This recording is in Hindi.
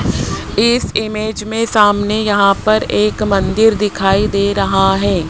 इस इमेज में सामने यहां पर एक मंदिर दिखाई दे रहा है।